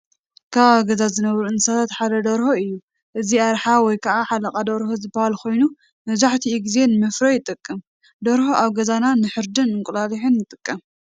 ካብ ኣብ ገዛ ዝነብሩ እንስሳታት ሓደ ደርሆ እዩ፡፡ እዚ ኣርሓ ወይ ከዓ ሓለቓ ደርሆ ዝባሃል ኮይኑ መብዛሕትኡ ጊዜ ንመፍረ ይጠቅም፡፡ ደርሆ ኣብ ገዛና ንሕርድን ንእንቁላሊሕን ንጥቀመለን፡፡